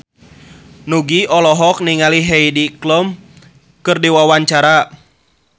Nugie olohok ningali Heidi Klum keur diwawancara